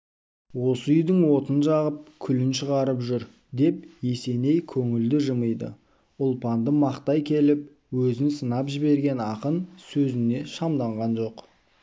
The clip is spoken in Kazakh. осы үйдің отын жағып күлін шығарып жүр деп есеней көңілді жымиды ұлпанды мақтай келіп өзін сынап жіберген ақын сөзіне шамданған жоқ